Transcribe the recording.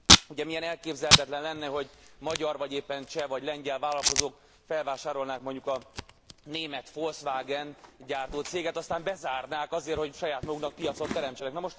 Ugye milyen elképzelhetetlen lenne, hogy magyar vagy éppen cseh vagy lengyel vállalkozók felvásárolnák mondjuk a német Volkswagent gyártó céget, aztán bezárnák azért, hogy saját maguknak piacot teremtsenek?